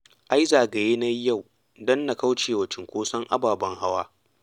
Ai zagaye na yi yau don na kauce wa cinkoson ababen hawa